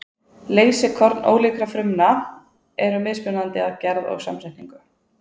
Leysikorn ólíkra frumna eru mismunandi að gerð og samsetningu.